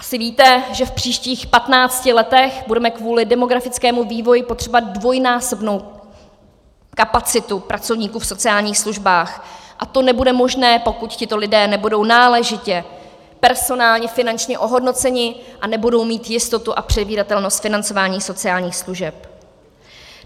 Asi víte, že v příštích patnácti letech budeme kvůli demografickému vývoji potřebovat dvojnásobnou kapacitu pracovníků v sociálních službách a to nebude možné, pokud tito lidé nebudou náležitě personálně finančně ohodnoceni a nebudou mít jistotu a předvídatelnost financování sociálních služeb.